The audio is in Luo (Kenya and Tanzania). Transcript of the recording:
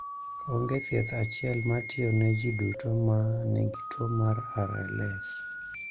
Onge thieth achiel ma tiyo ne ji duto ma nigi tuo mar RLS.